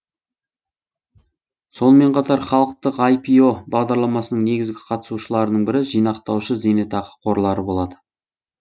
сонымен қатар халықтық айпио бағдарламасының негізгі қатысушыларының бірі жинақтаушы зейнетақы қорлары болады